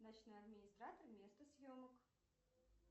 ночной администратор место съемок